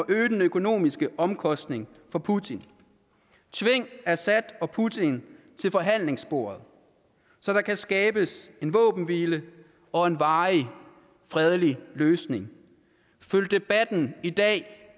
øge den økonomisk omkostning for putin tving assad og putin til forhandlingsbordet så der kan skabes en våbenhvile og en varig fredelig løsning følg debatten i dag